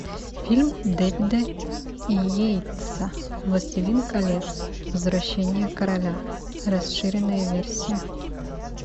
фильм дэвида йейтса властелин колец возвращение короля расширенная версия